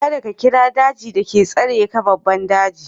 Ka da ka kira daji da ke tsare ka babban daji!